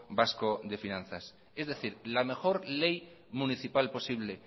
vasco de finanzas es decir la mejor ley municipal posible